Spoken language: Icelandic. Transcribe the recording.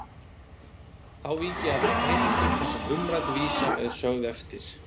Þá vík ég að þeim heimildum þar sem umrædd vísa er sögð eftir